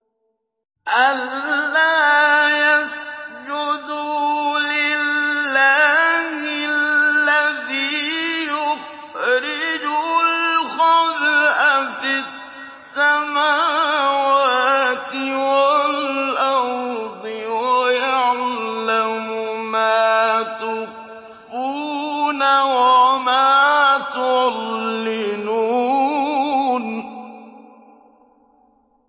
أَلَّا يَسْجُدُوا لِلَّهِ الَّذِي يُخْرِجُ الْخَبْءَ فِي السَّمَاوَاتِ وَالْأَرْضِ وَيَعْلَمُ مَا تُخْفُونَ وَمَا تُعْلِنُونَ